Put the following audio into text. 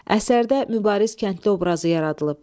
Əsərdə mübariz kəndli obrazı yaradılıb.